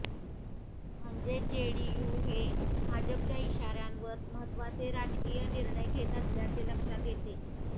म्हणजेच जेडीयू हे भाजपच्या इशाऱ्यावर महत्त्वाचे राजकीय निर्णय घेत असल्याचे लक्षात येते